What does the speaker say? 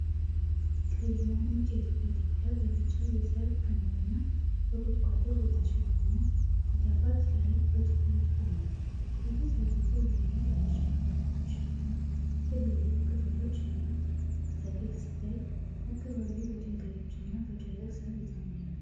ቀይና ነጭ የኢትዮጵያ ተኩላ በቢጫ የሳር ክምርና በቁጥቋጦ በተሸፈነ ተዳፋት ላይ በትኩረት ቆሟል። ከፊት ለፊቱ ወይን ጠጅ አበቦችና ትልልቅ ቅጠሎች ያሉት ተክል ሲታይ፤ አካባቢው በድንጋዮችና በደረቅ ሳር የተሞላ ነው።